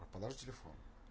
а положи телефон